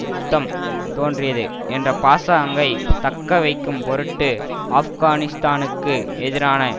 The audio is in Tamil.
யுத்தம் தோன்றியது என்ற பாசாங்கை தக்க வைக்கும் பொருட்டு ஆப்கானிஸ்தானுக்கு எதிரான